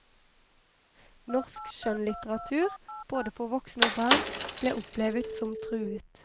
Norsk skjønnlitteratur, både for voksne og barn, ble opplevet som truet.